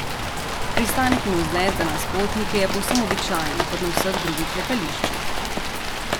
Pristanek in vzlet za nas potnike je povsem običajen kot na vseh drugih letališčih.